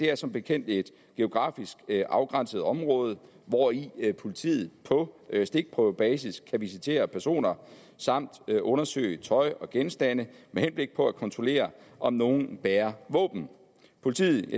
er som bekendt et geografisk afgrænset område hvori politiet på stikprøvebasis kan visitere personer samt undersøge tøj og genstande med henblik på at kontrollere om nogle bærer våben politiet